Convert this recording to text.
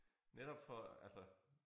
Netop for altså